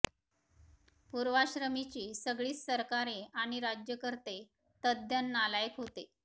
पूर्वाश्रमीची सगळीच सरकारे आणि राज्यकर्ते तद्दन नालायक होते